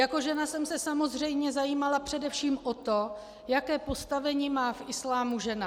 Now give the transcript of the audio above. Jako žena jsem se samozřejmě zajímala především o to, jaké postavení má v islámu žena.